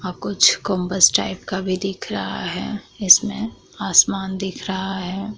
अब कुछ कोबस स्ट्राइवी का भी दिख रहा है इस में आसमान दिख रहा है।